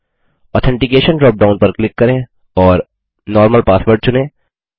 authentication drop down पर click करें और नॉर्मल पासवर्ड चुनें